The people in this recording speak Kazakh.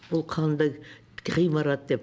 бұл қандай ғимарат деп